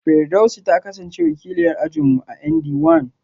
Firdausi ta kasance wakiliyar ajin mu a ND one